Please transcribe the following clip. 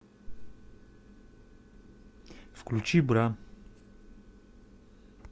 включи бра